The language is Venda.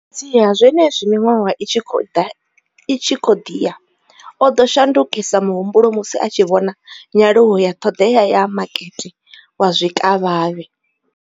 Fhedziha, zwenezwi miṅwaha i tshi khou ḓi ya, o ḓo shandukisa muhumbulo musi a tshi vhona nyaluwo ya ṱhoḓea ya makete wa zwikavhavhe.